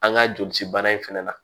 An ka jolisi bana in fana na